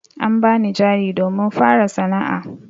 An bani jari domin fara sana'a.